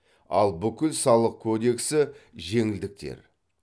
ал бүкіл салық кодексі жеңілдіктер